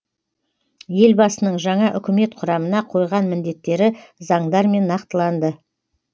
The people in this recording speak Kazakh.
елбасының жаңа үкімет құрамына қойған міндеттері заңдармен нақтыланады